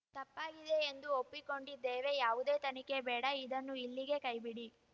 ತಪ್ಪಾಗಿದೆ ಎಂದು ಒಪ್ಪಿಕೊಂಡಿದ್ದೇವೆ ಯಾವುದೇ ತನಿಖೆ ಬೇಡ ಇದನ್ನು ಇಲ್ಲಿಗೆ ಕೈಬಿಡಿ